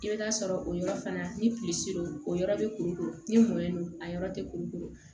I bɛ taa sɔrɔ o yɔrɔ fana ni don o yɔrɔ bɛ kuru ni mɔlen don a yɔrɔ tɛ kuru